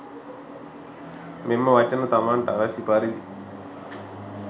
මෙම වචන තමන්ට අවැසි පරිදි